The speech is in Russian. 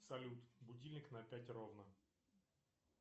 салют будильник на пять ровно